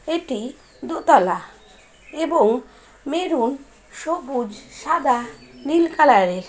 এটি দোতলা এবং মেরুন সবুজ সাদা নীল কালার -এর।